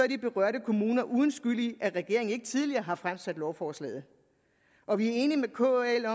de berørte kommuner uden skyld i at regeringen ikke tidligere har fremsat lovforslaget og vi er enige med kl